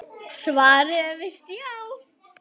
Svarið er víst já.